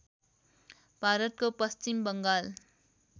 भारतको पश्चिम बङ्गाल